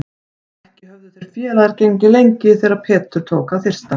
Ekki höfðu þeir félagar gengið lengi þegar Pétur tók að þyrsta.